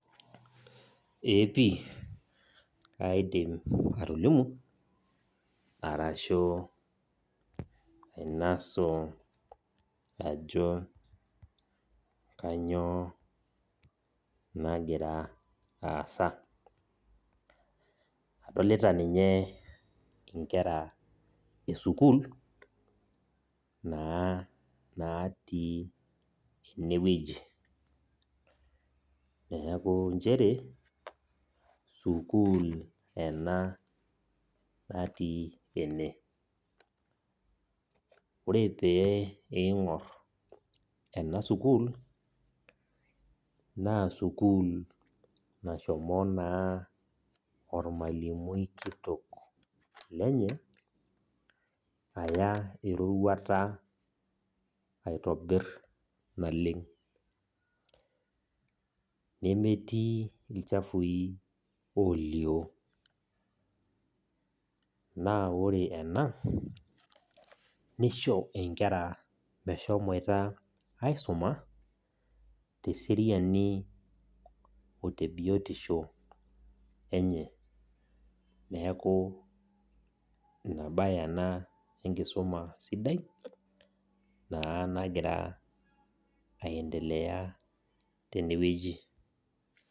Adim atolimu ajo kainyoo nagira aasa. Adolita nkera e sukuul natii ene wueji. Niaku nchere sukuul ena natii ene. Ore peyie ingorr ena sukuul nashomo irmwalimui kitok aya eroruata aitobir naleng. Nemetii olorerio olioo. Naa ore ena neisho nkare meisumata te seriani o biotisho. Niaku ina bae enkisuma ena nanloto dukuya tene wuji.